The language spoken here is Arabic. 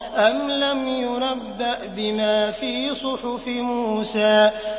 أَمْ لَمْ يُنَبَّأْ بِمَا فِي صُحُفِ مُوسَىٰ